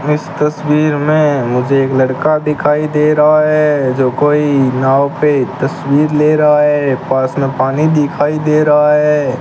इस तस्वीर में मुझे एक लड़का दिखाई दे रहा है जो कोई नाव पे तस्वीर ले रहा है पास में पानी दिखाई दे रहा है।